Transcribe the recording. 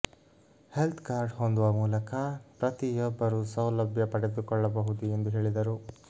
health card ಹೊಂದುವ ಮೂಲಕ ಪ್ರತಿ ಯೊಬ್ಬರೂ ಸೌಲಭ್ಯ ಪಡೆದುಕೊಳ್ಳಬಹುದು ಎಂದು ಹೇಳಿದರು